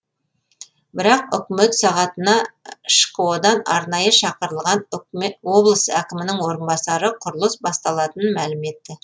бірақ үкімет сағатына шқо дан арнайы шақырылған облыс әкімінің орынбасары құрылыс басталатынын мәлім етті